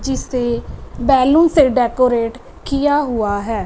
जिसे बैलून से डेकोरेट किया हुआ है।